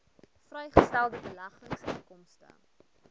vrygestelde beleggingsinkomste